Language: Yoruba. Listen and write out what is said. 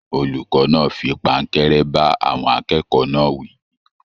Olùkọ náà fí pankẹ̀rẹ̀ ba àwọn akẹ́kọ̀ọ́ náà wí.